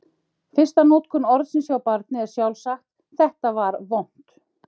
Fyrsta notkun orðsins hjá barni er sjálfsagt: Þetta var vont!